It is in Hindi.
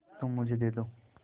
तुम मुझे दे दो